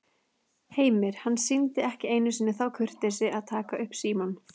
Heimir: Hann sýndi ekki einu sinni þá kurteisi að taka upp símann?